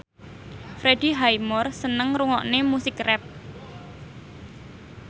Freddie Highmore seneng ngrungokne musik rap